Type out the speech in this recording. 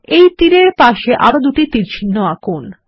এই তীর এর পাশে আরো দুটি তীরচিহ্ন আঁকুন